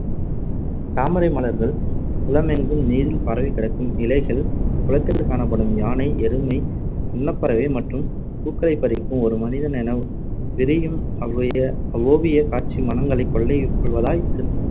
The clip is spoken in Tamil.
தாமரை மலர்கள், குளமெங்கும் நீரில் பரவிக்கிடக்கும் இலைகள், குளத்தில் காணப்படும் யானை, எருமை, அன்னப்பறவை மற்றும் பூக்களைப்பறிக்கும் ஒரு மனிதன் என விரியும் அவ்வைய~ அவ்வோவியக் காட்சி மனங்களைக் கொள்ளை கொள்வதாய் சிற~